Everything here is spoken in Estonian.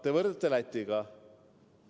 Te võrdlete meid Lätiga.